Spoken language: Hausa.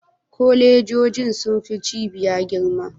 Kolejoji sun fi cibiya girma?